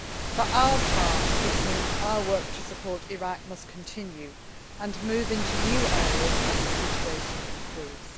For our part, this means our work to support Iraq must continue, and move into new areas as the situation improves.